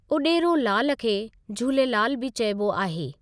उडे॒रोलाल खे झूलेलाल बि चइबो आहे।